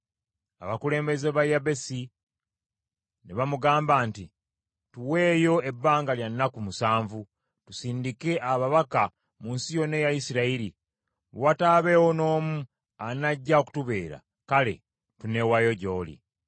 Abakulu ba Yabesi ne bamugamba nti, “Tuweeyo ebbanga lya nnaku musanvu, tusindike ababaka mu nsi yonna eya Isirayiri. Bwe wataabeewo n’omu anajja okutubeera, kale tuneewaayo gy’oli.”